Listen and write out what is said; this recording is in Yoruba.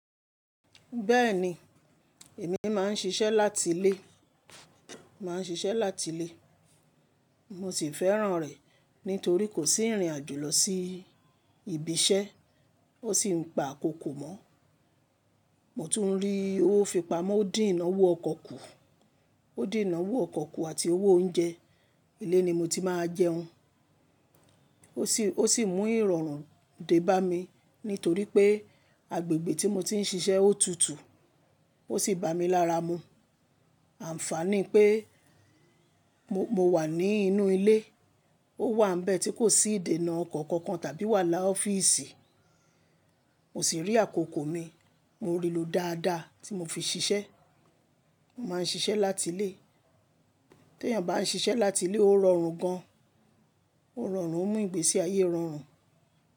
Bẹ́ẹ̀ni, èmi máa ń ṣiṣẹ́ láti ilé, màá ń ṣiṣẹ́ láti ilé. Mo sì fẹ́ràn rẹ̀ nítorí kò sí ìrìn àjò lọ sí ibi iṣẹ́, ó sì ń pa àkókò mọ́. Mo tún rí owó ìfipamọ́, ó dín ìnáwó ọkọ̀ kù ó dín ìnáwó ọkọ̀ kù àti owó oúnjẹ. Ilé ni mo ti máa jẹun ó sì, ó sì mú ìrọ̀rùn dé bá mi nítorí pé agbègbè tí mo ti ń ṣiṣẹ́ ó tutù ó sì bà mí lára mu. Àǹfààní pé mo wà ní inú ilé, ó wà ń bẹ́ẹ̀ tí kò sí ìdènà ọkọ̀ kankan tàbí wàhálà ọ́fíìsì. Mo sì rí àkókò mi, mo rí lọ dáadáa tí mo fi ṣiṣẹ́. Mo máa ń ṣiṣẹ́ láti ilé. Tí èèyàn bá ṣiṣẹ́ láti ilé ó rọrùn gan, ó rọrùn ó mú ìgbésí ayé rọrùn.